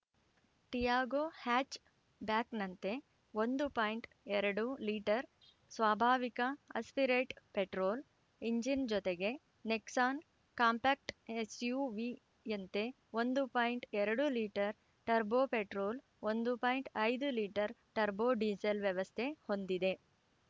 Tiago ಹ್ಯಾಚ್‌ಬ್ಯಾಕ್‌ನಂತೆ ಒಂದು point ಎರಡು ಲೀಟರ್‌ ಸ್ವಾಭಾವಿಕ ಆಸ್ಪಿರೇಟ್‌ ಪೆಟ್ರೋಲ್‌ ಇಂಜಿನ್‌ ಜೊತೆಗೆ ನೆಕ್ಸಾನ್‌ ಕಾಂಪ್ಯಾಕ್ಟ್ ಎಸ್‌ಯುವಿಯಂತೆ ಒಂದು ಪೋಯಿಂಟ್ ಎರಡು ಲೀಟರ್‌ ಟರ್ಬೊ ಪೆಟ್ರೋಲ್‌ ಒಂದು ಪೋಯಿಂಟ್ ಐದು ಲೀಟರ್‌ ಟರ್ಬೊ ಡಿಸೆಲ್‌ ವ್ಯವಸ್ಥೆ ಹೊಂದಿದೆ